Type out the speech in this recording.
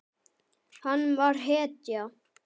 Hann var hetja.